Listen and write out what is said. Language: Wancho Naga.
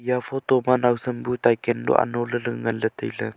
eya photo ma nausam bu taekendo anolaley nganley tailey.